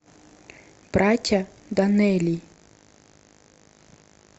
братья доннелли